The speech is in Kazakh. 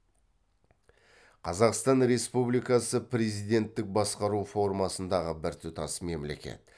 қазақстан республикасы президенттік басқару формасындағы біртұтас мемлекет